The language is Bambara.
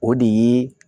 O de ye